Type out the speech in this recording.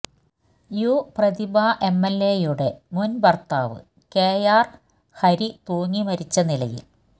U Prathibha എംഎൽഎയുടെ മുൻ ഭർത്താവ് കെആർ ഹരി തൂങ്ങി മരിച്ച നിലയിൽ